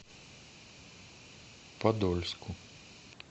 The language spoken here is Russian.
подольску